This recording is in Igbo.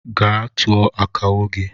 Gaa tụọ akawo gi!